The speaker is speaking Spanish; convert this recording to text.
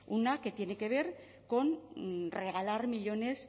una que tiene que ver con regalar millónes